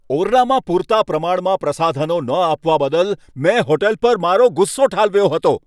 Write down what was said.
ઓરડામાં પૂરતા પ્રમાણમાં પ્રસાધનો ન આપવા બદલ મેં હોટલ પર મારો ગુસ્સો ઠાલવ્યો હતો.